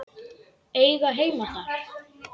Eiga heima þar.